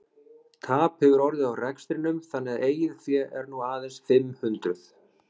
Tap hefur orðið á rekstrinum þannig að eigið fé er nú aðeins fimm hundruð.